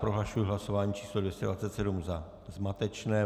Prohlašuji hlasování číslo 227 za zmatečné.